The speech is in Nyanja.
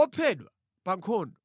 ophedwa pa nkhondo.’